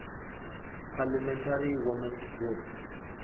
parliamentary women s group pwg